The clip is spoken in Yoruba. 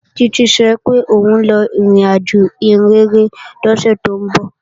Títí sọ pé òun lọ ìrìnàjò ìhìnrere lọ́sẹ̀ tó ń bọ̀